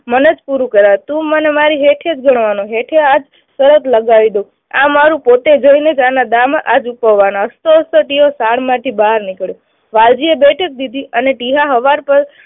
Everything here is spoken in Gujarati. મને જ પૂરું કરાવે તું મને મારી હેઠે જ ગણવાનો. હેઠે જ આ શરત લગાવી દઉં. આ મારું પોતે જોઈ લેજે આના દામા આ ચૂકવવાના. હસતો હસતો ટીહો સાઢમાંથી બહાર નીકળ્યો. વાલજીએ દીધી અને ટીહા પર